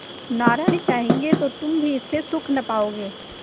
नारायण चाहेंगे तो तुम भी इससे सुख न पाओगे